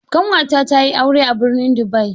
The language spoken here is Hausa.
Ƙanwata tayi aure a birnin Dubai.